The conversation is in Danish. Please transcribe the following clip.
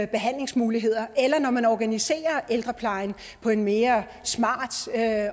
behandlingsmuligheder eller når man organiserer ældreplejen på en mere smart